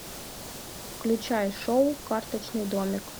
включай шоу карточный домик